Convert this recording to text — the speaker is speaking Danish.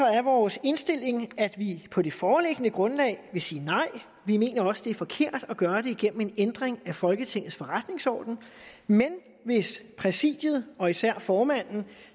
er vores indstilling at vi på det foreliggende grundlag vil sige nej vi mener også det er forkert at gøre det gennem en ændring af folketingets forretningsorden men hvis præsidiet og især formanden